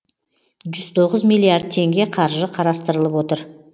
жүз тоғыз миллиард теңге қаржы қарастырылып отыр